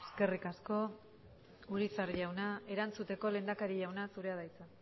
eskerrik asko urizar jauna erantzuteko lehendakari jauna zurea da hitza